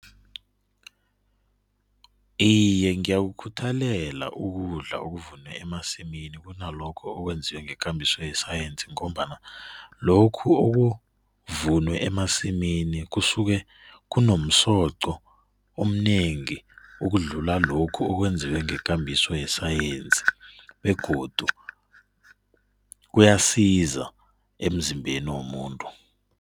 Iye ngiyakukhuthelela ukudla okuvunwe emasimini kunalokho okwenziwe ngekambiso yesayensi ngombana lokhu okuvunwe emasimini kusuke kunomsoqo omnengi ukudlula lokhu okwenziwe ngekambiso yesayensi begodu kuyasiza emzimbeni womuntu.